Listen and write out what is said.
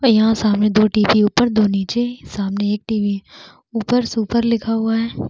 यहाँ सामने दो टीवी उप्पर दो नीचे दो सामने एक टीवी ऊपर सुपर लिखा हुए है।